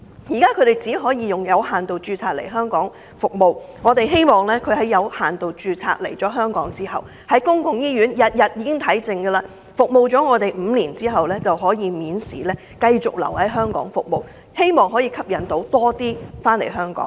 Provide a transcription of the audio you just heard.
現在，他們只能以有限度註冊來香港服務，我們希望他們註冊後並在香港的醫院服務滿5年，便可以免試繼續留港服務，藉此吸引更多醫生來港。